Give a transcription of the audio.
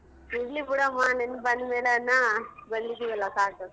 ಇರ್ಲಿ ಬಿಡಮ್ಮ ನೆನಪ್ ಬಂದ್ಮೇಲನ ಬಂದಿದೀವಲ್ಲ ಸಾಕು.